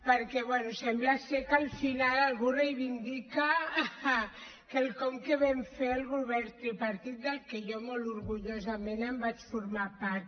perquè bé sembla ser que al final algú reivindica quelcom que vam fer el govern tripartit del que jo molt orgullosament en vaig formar part